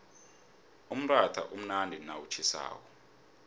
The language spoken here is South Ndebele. umratha umnandi nawutjhisako